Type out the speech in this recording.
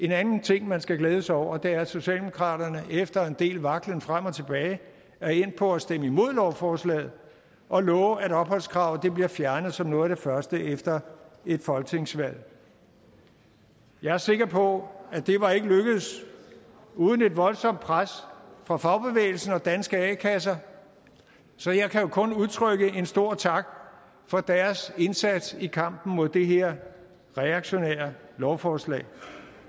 den anden ting man skal glæde sig over er at socialdemokratiet efter en del vaklen frem og tilbage er endt på at stemme imod lovforslaget og love at opholdskravet bliver fjernet som noget af det første efter et folketingsvalg jeg er sikker på at det ikke var lykkedes uden et voldsomt pres fra fagbevægelsen og danske a kasser så jeg kan jo kun udtrykke en stor tak for deres indsats i kampen mod det her reaktionære lovforslag